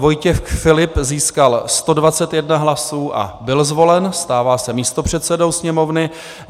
Vojtěch Filip získal 121 hlasů a byl zvolen, stává se místopředsedou Sněmovny.